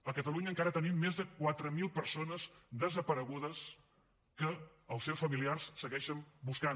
a catalunya encara tenim més de quatre mil persones desaparegudes que els seus familiars segueixen buscant